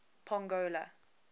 pongola